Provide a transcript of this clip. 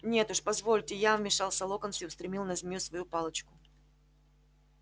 нет уж позвольте я вмешался локонс и устремил на змею свою палочку